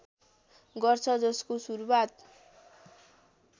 गर्छ जसको सुरुवात